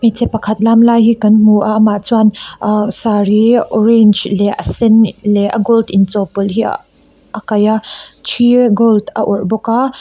hmeichhe pakhat lam lai hi kan hmu a amah chuan ah sari orange leh a sen leh a gold inchawh pawlh hi a kaih a thi gold a awrh bawka --